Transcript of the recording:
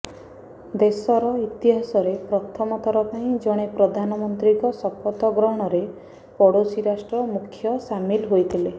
ଦେଶର ଇଚ୍ଛିହାସରେ ପ୍ରଥମ ଥର ପାଇଁ ଜଣେ ପ୍ରଧାନମନ୍ତ୍ରୀଙ୍କ ଶପଥ ଗ୍ରହଣରେ ପଡୋଶୀ ରାଷ୍ଟ୍ର ମୁଖ୍ୟ ସାମିଲ ହୋଇଥିଲେ